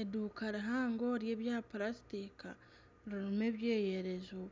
Eduuka rihango ry'ebya plasitika ririmu ebyeyerezo